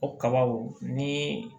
O kabaw ni